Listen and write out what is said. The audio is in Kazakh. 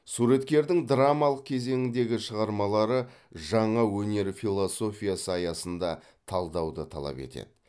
суреткердің драмалық кезеңдегі шығармалары жаңа өнер философиясы аясында талдауды талап етеді